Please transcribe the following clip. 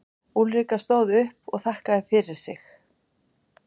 Úlrika stóð upp og þakkaði fyrir sig.